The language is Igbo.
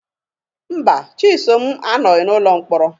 Mba, Chisom anọghị n'ụlọ mkpọrọ.